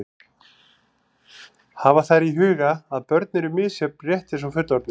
Hafa þarf í huga að börn eru misjöfn rétt eins og fullorðnir.